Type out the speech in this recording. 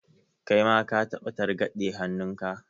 Kai ma ka taɓa targaɗe hannunka?